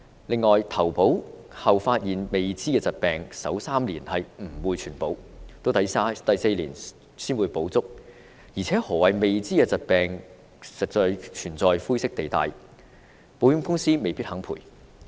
此外，在投保後才發現的未知疾病，首3年不獲全保，直至第四年才會全保，而何謂"未知疾病"亦存在灰色地帶，保險公司未必肯作賠償。